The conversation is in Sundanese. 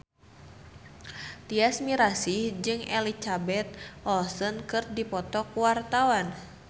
Tyas Mirasih jeung Elizabeth Olsen keur dipoto ku wartawan